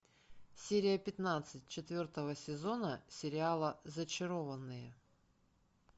серия пятнадцать четвертого сезона сериала зачарованные